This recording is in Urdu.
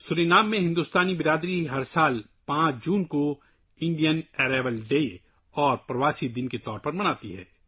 سورینام میں ہندوستانی کمیونٹی ہر سال 5 جون کو ہندوستانی آمد کے دن اور ڈاسپورا ڈے کے طور پر مناتی ہے